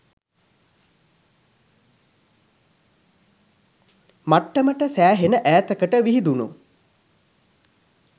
මට්ටමට සෑහෙන ඈතකට විහිදුණ